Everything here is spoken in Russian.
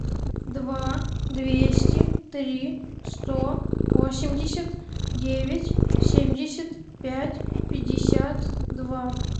два двести три сто восемьдесят девять семьдесят пять пятьдесят два